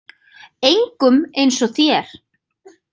Engum eins og þér.